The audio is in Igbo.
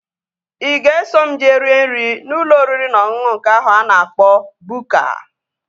Ị ga-eso m jee rue nri n'ụlọ oriri na ọṅụṅụ nke ahụ a na-akpọ Bukka?